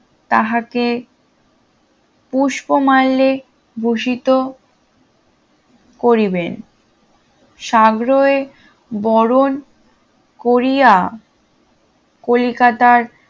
তাহাক পুস্পমাল্যে ভূষিত করিবেন সাগ্রহে বরণ করিয়া কলিকাতার